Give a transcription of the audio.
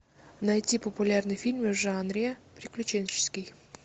найти популярные фильмы в жанре приключенческий